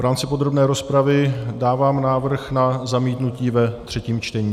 V rámci podrobné rozpravy dávám návrh na zamítnutí ve třetím čtení.